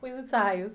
Os ensaios?